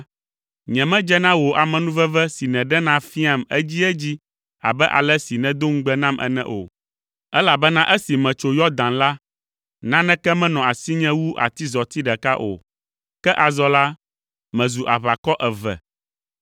nyemedze na wò amenuveve si nèɖena fiaam edziedzi abe ale si nèdo ŋugbe nam ene o, elabena esi metso Yɔdan la, naneke menɔ asinye wu atizɔti ɖeka o! Ke azɔ la, mezu aʋakɔ eve!